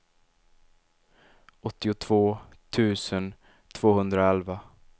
åttiotvå tusen tvåhundraelva